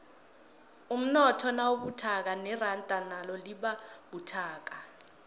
umnotho nawubuthakathaka iranda nalo libabuthakathaka